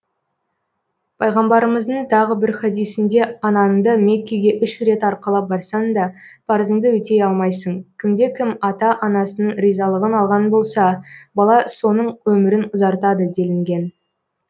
пайғамбарымыздың тағы бір хадисінде анаңды меккеге үш рет арқалап барсаң да парызыңды өтей алмайсың кімде кім ата анасының ризалығын алған болса бала соның өмірін ұзартады делінген